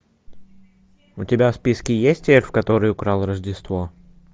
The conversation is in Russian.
у тебя в списке есть эльф который украл рождество